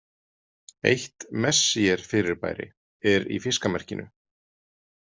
Eitt Messier-fyrirbæri er í Fiskamerkinu.